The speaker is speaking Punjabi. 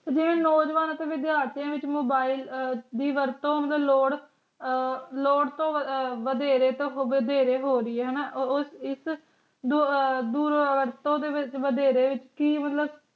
ਜਿਹੜੇ ਨੌਜਵਾਨ ਕਨੇਡੀਅਨ ਸਿਆਸਤ ਮੋਬਾਇਲ ਦੀ ਵਰਤੋਂ ਦੀ ਲੋੜ